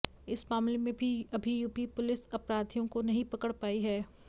इस मामले में भी अभी यूपी पुलिस अपराधियों को नहीं पकड़ पायी है